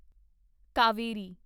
Kaveri